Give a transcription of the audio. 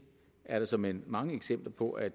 er der såmænd mange eksempler på at